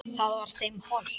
Það var þeim hollt.